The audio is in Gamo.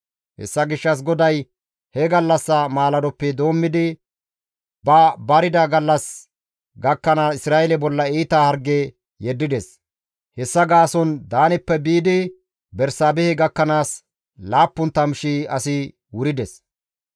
Hessa gishshas GODAY he gallassa maaladoppe doommidi ba barida gallas gakkanaas Isra7eele bolla iita harge yeddides; hessa gaason Daaneppe biidi Bersaabehe gakkanaas 70,000 asi wurides.